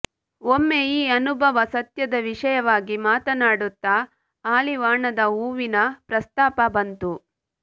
ಒಮ್ಮೆ ಈ ಅನುಭವ ಸತ್ಯದ ವಿಷಯವಾಗಿ ಮಾತನಾಡುತ್ತ ಹಾಲಿವಾಣದ ಹೂವಿನ ಪ್ರಸ್ತಾಪ ಬಂತು